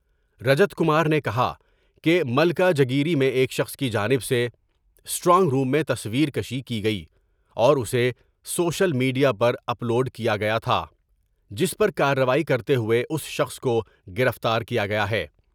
رجت کمار نے کہا کہ ملکاجگیری میں ایک شخص کی جانب سے اسٹرائنگ روم میں تصور کیشی کی گئی اور اسے سوشل میڈ یا پر اپ لوڈ کیا گیا تھا جس پر کاروائی کرتے ہوۓ اس شخص کو گرفتار کیا گیا ہے ۔